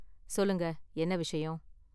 சொல்லுங்க, என்ன விஷயம்?